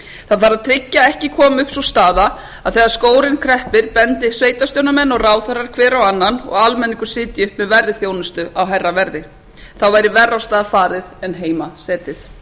það þarf að tryggja að ekki komi upp sú staða að þegar skórinn kreppir bendi sveitarstjórnarmenn og ráðherrar hver á annan og almenningur sitji uppi með verri þjónustu á hærra verði þá væri verr af stað farið en heima setið